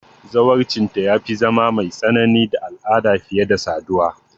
Zawarcinta ya fi zama mai tsanani da al'ada fiye da saduwa.